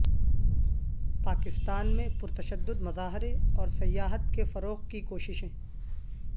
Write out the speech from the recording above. پاکستان میں پرتشدد مظاہرے اور سیاحت کے فروغ کی کوششیں